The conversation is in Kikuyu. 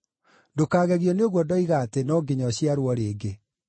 Ndũkagegio nĩ ũguo ndoiga atĩ, ‘No nginya ũciarwo rĩngĩ.’